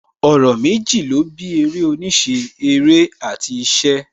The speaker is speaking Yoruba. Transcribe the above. Ọ̀rọ̀ méjì ó bí eré oníṣẹ́; Eré àti ìṣe